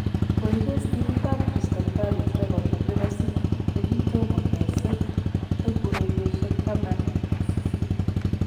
Koikes timitap crystal palace rekodit nebo city ne ki tomo kesir eng' urerioshektamanak sisit